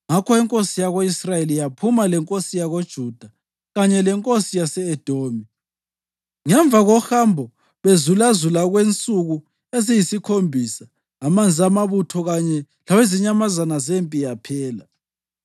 Ngakho inkosi yako-Israyeli yaphuma lenkosi yakoJuda kanye lenkosi yase-Edomi. Ngemva kohambo bezulazula okwensuku eziyisikhombisa amanzi amabutho kanye lawezinyamazana zempi aphela.